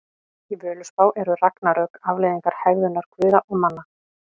Í Völuspá eru ragnarök afleiðing hegðunar guða og manna.